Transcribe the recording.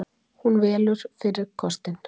Hún velur fyrri kostinn.